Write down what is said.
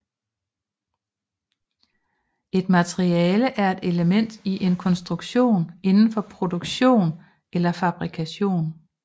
Et materiale er et element i en konstruktion inden for produktion eller fabrikation